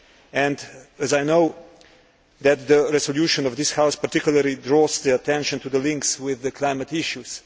and as I know that the resolution of this House particularly draws attention to the links with climate issues.